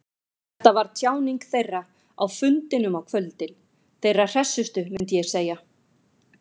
Þetta var tjáning þeirra, á fundunum á kvöldin, þeirra hressustu, myndi ég segja.